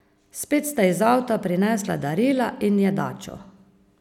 Spet sta iz avta prinesla darila in jedačo.